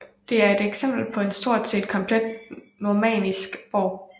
Det er et eksempel på en stort set komplet normannisk borg